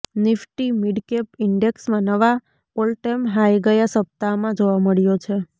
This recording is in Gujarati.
નિફ્ટી મિડકેપ ઈન્ડેક્સમાં નવા ઓલટાઈમ હાઈ ગયા સપ્તાહમાં જોવા મળ્યો છે